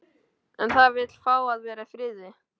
En það vill fá að vera í friði.